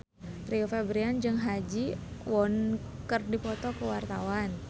Rio Febrian jeung Ha Ji Won keur dipoto ku wartawan